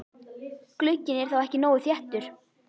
Glugginn er þá ekki nógu þéttur.